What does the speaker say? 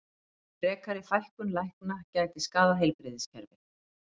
Frekari fækkun lækna gæti skaðað heilbrigðiskerfið